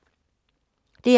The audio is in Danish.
DR2